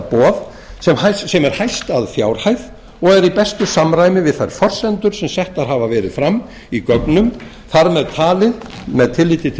boð sem er hæst að fjárhæð og er í bestu samræmi við þær forsendur sem settar hafa verið fram í gögnum þar með talið með tilliti til